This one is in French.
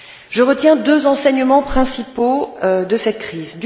Je retiens deux enseignements principaux de cette crise.